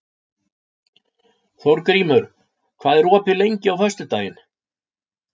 Þórgrímur, hvað er opið lengi á föstudaginn?